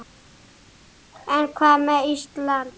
En hvað með Ísland.